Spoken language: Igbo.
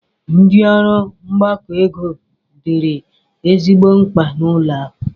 Ndi ọrụ mgbakọ ego dịịrị ezigbo mkpa n'ụlọ akụ.